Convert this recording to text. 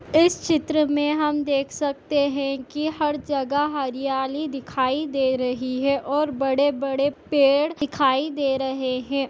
इस चित्र मे हम देख सकते है की हर जगह हरियाली दिखाई दे रही है और बड़े बड़े पेड़ दिखाई दे रहे है।